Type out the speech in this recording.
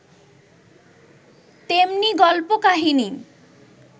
তেমনি গল্প কাহিনী